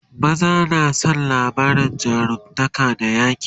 maza na San labarin jarumtaka da yaƙi